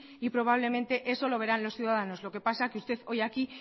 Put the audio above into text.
y probablemente lo verán los ciudadanos lo que pasa que usted hoy aquí